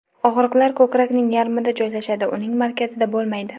Og‘riqlar ko‘krakning yarmida joylashadi, uning markazida bo‘lmaydi.